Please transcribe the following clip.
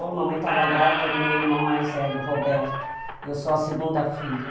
A mamãe estava grávida do meu irmão mais velho, Roberto, e eu sou a segunda filha.